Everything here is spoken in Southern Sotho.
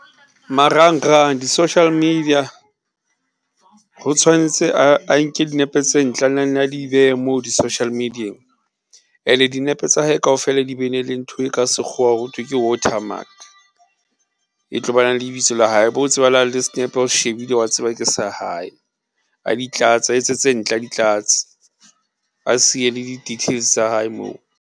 Marangrang di-social media, ho tshwanetse a nke dinepe tse ntle a na nne a di behe moo di-social media-eng, and-e dinepe tsa hae kaofela di be na le ntho e ka sekgowa ho thwe ke watermark, e tlo ba nang le lebitso la hae ho tsebahalang le snepe hao se shebile ke sa hae, a di tlatse, a etse tse ntle, a di tlatse, a siye le di-details tsa hae moo.